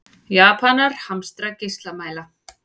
Japanar hamstra geislamæla